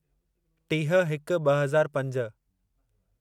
टीह हिक ॿ हज़ार पंज